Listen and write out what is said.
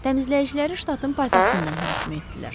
Təmizləyiciləri ştatın paytaxtında mühakimə etdilər.